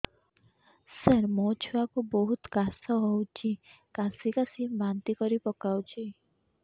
ସାର ମୋ ଛୁଆ କୁ ବହୁତ କାଶ ହଉଛି କାସି କାସି ବାନ୍ତି କରି ପକାଉଛି